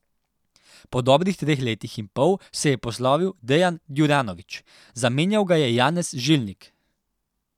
Po dobrih treh letih in pol se je poslovil Dejan Djuranović, zamenjal ga je Janez Žilnik.